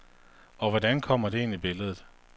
Og hvordan kommer det ind i billedet?